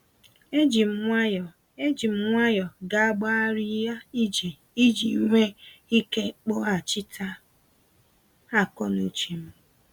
E jim nwayọ E jim nwayọ gágbarịa ije iji nwee ike kpọghachịta akọ n'uchem.